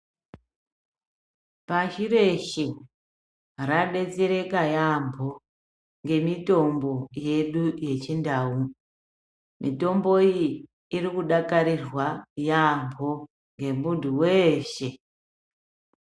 Pashi reshe radetsereka yaamho ngemitombo yedu yechindau. Mitombo iyi irikudakarirwa yaamho ngemuntu weshe.